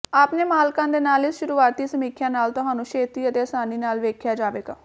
ਆਪਣੇ ਮਾਲਕਾਂ ਦੇ ਨਾਲ ਇਸ ਸ਼ੁਰੂਆਤੀ ਸਮੀਖਿਆ ਨਾਲ ਤੁਹਾਨੂੰ ਛੇਤੀ ਅਤੇ ਆਸਾਨੀ ਨਾਲ ਵੇਖਿਆ ਜਾਵੇਗਾ